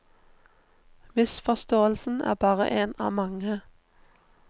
Misforståelsen er bare en av mange.